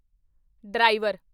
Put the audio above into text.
driver